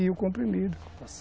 E o comprimido.